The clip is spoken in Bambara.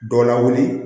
Dɔ lawuli